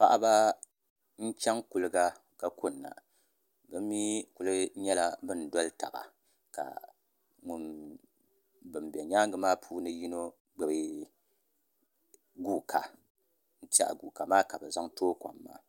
Paɣaba n chɛŋ kuliga ka kunna bi mii ku nyɛla bin doli taba ka bin bɛ nyaangi maa puuni yino gbubi guuka n tiɛha guuka maa ka bi zaŋ tooi kom maa